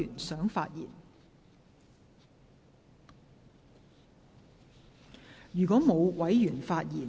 是否有委員想發言？